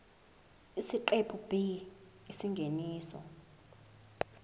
isiqephu b isingeniso